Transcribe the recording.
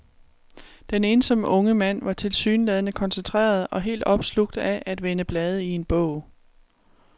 Den ensomme unge mand var tilsyneladende koncentreret og helt opslugt af at vende blade i en bog.